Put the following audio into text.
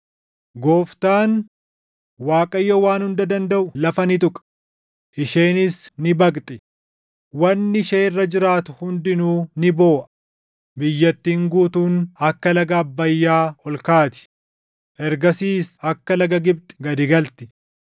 Gooftaan, Waaqayyo Waan Hunda Dandaʼu lafa ni tuqa; isheenis ni baqxi; wanni ishee irra jiraatu hundinuu ni booʼa; biyyattiin guutuun akka laga Abbayyaa ol kaati; ergasiis akka laga Gibxi gad galti;